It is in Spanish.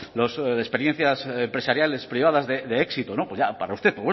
las experiencias empresariales privadas de éxito para usted